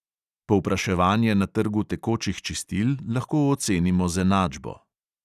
Povpraševanje na trgu tekočih čistil lahko ocenimo z enačbo.